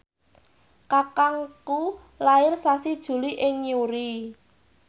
kakangku lair sasi Juli ing Newry